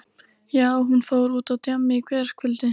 Já, hún fór út á djammið í gærkvöldi.